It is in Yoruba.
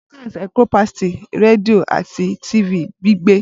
Broadcast encompasses redio ati TV gbigbe